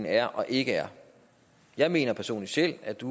er og ikke er jeg mener selv at det